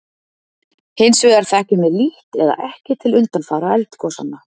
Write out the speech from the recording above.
Hins vegar þekkjum við lítt eða ekki til undanfara eldgosanna.